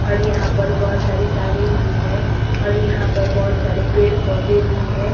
और यहां पर बहुत सारी तारें भी है और यहां पर बहुत सारे पेड़ पौधे भी है।